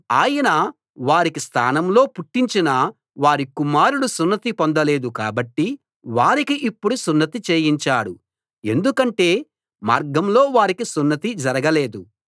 ఆయన వారికి స్థానంలో పుట్టించిన వారి కుమారులు సున్నతి పొందలేదు కాబట్టి వారికి ఇప్పుడు సున్నతి చేయించాడు ఎందుకంటే మార్గంలో వారికి సున్నతి జరగలేదు